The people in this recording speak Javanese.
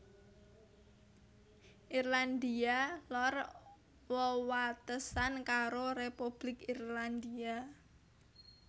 Irlandia Lor wewatesan karo Republik Irlandia